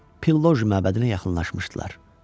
Pilloji məbədinə yaxınlaşmışdılar.